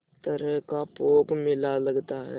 तरह का पोंख मेला लगता है